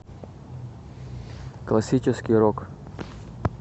классический рок